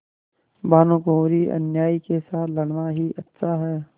भानुकुँवरिअन्यायी के साथ लड़ना ही अच्छा है